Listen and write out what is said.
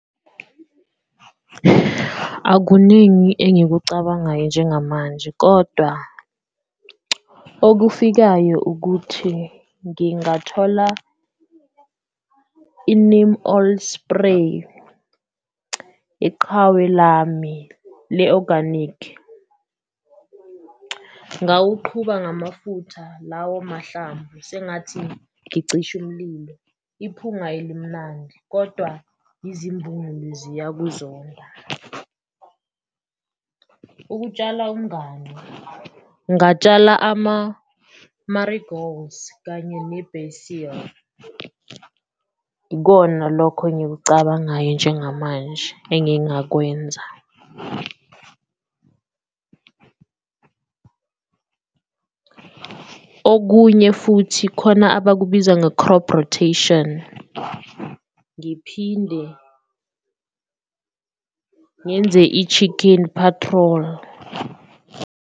Akuningi engikucabangayo njengamanje kodwa okufikayo ukuthi ngingathola i-neem oil spray, iqhawe lami le-organic ngawuqhuba ngamafutha lawo mahlamvu sengathi ngicisha umlilo, iphunga elimnandi kodwa izimbungulu ziyakuzona. Ukutshala umnganu, ngatshala ama-marigolds kanye ne-basil ikona lokho engikucabangayo njengamanje engingakwenza, okunye futhi khona abakubiza nge-crop rotation, ngiphinde ngenze i-chicken patrol.